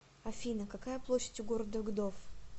афина какая площадь у города гдов